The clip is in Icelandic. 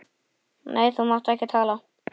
Nei, þú mátt ekki tala.